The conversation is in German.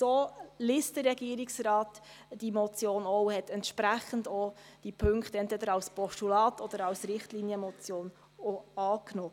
So liest der Regierungsrat diese Motion auch, und er hat entsprechend auch die Punkte entweder als Postulat oder als Richtlinienmotion angenommen.